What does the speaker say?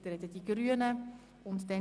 Danach haben die Grünen das Wort.